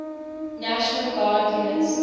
national guard units